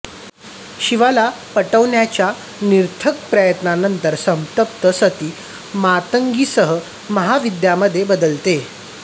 शिवाला पटवण्याच्या निरर्थक प्रयत्नांनंतर संतप्त सती मातंगीसह महाविद्यांमध्ये बदलते